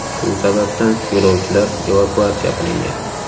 Shu sababdan yo‘lovchilar evakuatsiya qilingan.